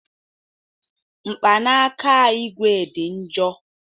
Mkpanaka ígwè dị njọ